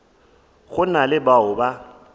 go na le bao ba